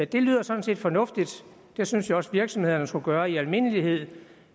det lyder sådan set fornuftigt det synes jeg også virksomhederne skulle gøre i almindelighed